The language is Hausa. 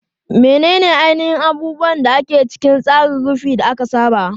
Menene ainihin abubuwan da ke cikin tsarin ki ka da aka saba?